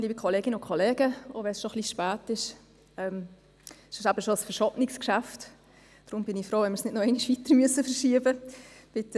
Auch wenn es bereits etwas spät ist – es ist eben ein verschobenes Geschäft, und deshalb bin ich froh, wenn wir es nicht ein weiteres Mal verschieben müssen.